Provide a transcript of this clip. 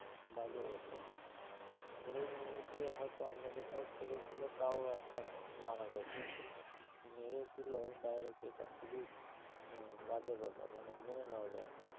বাজে ব্যাপার ধরে নিয়ে গিয়ে হয়তো অন্য কোথাও ছেড়ে দিলো তাও একটা মানা যায় কিন্তু মেরে দিলো Direct এটা খুবই উম বাজে ব্যাপার মানে মেনে নেওয়া যায়না